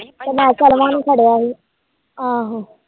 ਕ ਫੜਿਆ ਹੀ